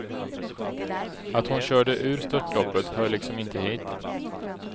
Att hon körde ur störtloppet hör liksom inte hit.